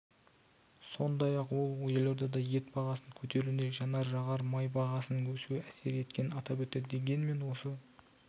сондай-ақ ол елордада ет бағасының көтерілуіне жанар-жағар май бағасының өсуі әсер еткенін атап өтті дегенмен осы